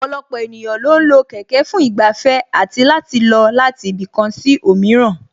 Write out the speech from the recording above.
Ọ̀pọ̀lọpọ̀ ènìyàn lo ń lo kẹ̀kẹ́ fún ìgbafẹ́ àti láti lọ láti ibì kan sí òmíràn